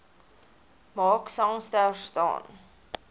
mark sangster staan